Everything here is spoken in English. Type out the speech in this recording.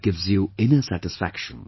It gives you inner satisfaction